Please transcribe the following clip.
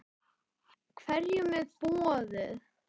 Hverjum er boðið?